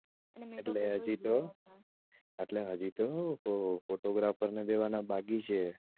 એટલે હજી તો એટલે હજી તો photographer ને દેવાનાં બાકી છે